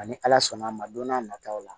Ani ala sɔnn'a ma don n'a nataw la